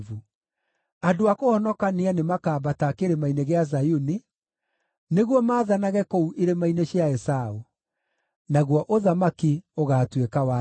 Andũ a kũhonokania nĩmakambata Kĩrĩma-inĩ gĩa Zayuni nĩguo maathanage kũu irĩma-inĩ cia Esaũ. Naguo ũthamaki ũgaatuĩka wa Jehova.